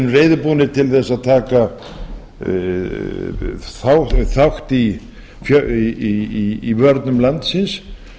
erum reiðubúnir til þess að taka þátt í vörnum landsins